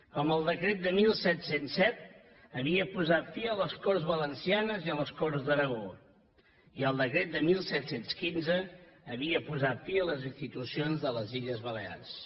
com el decret de disset zero set havia posat fi a les corts valencianes i a les corts d’aragó i el decret de disset deu cinc havia posat fi a les institucions de les illes balears